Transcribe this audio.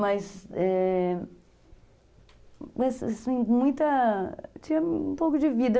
Mas...Eh... Mas, assim, muita... Tinha um pouco de vida.